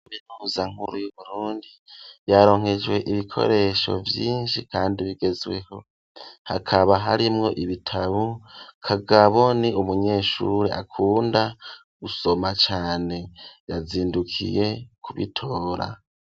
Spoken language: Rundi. Minuhuza nkuru y'Uburundi yaronkejwe ibikoresho vyinshi kandi bigezweho, hakaba harimwo ibitabo, Kagabo ni umunyeshuri akunda gusoma cane yazindukiye kubitora.